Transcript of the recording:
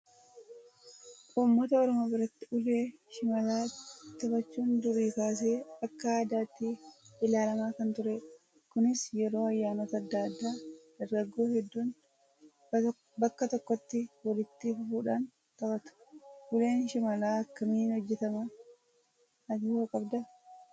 Uummata oromoo biratti ulee shimalaa taphachuun durii kaasee akka aadaatti ilaalamaa kan turedha. Kunis yeroo ayyaanota adda addaa dargaggoon hedduun bakka tokkotti walitti dhufuudhaan taphatu. Uleen shimalaa akkamiin hojjatamaa? Ati hoo qabdaa?